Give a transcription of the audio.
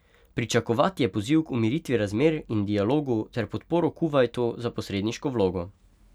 Pričakovati je poziv k umiritvi razmer in dialogu ter podporo Kuvajtu za posredniško vlogo.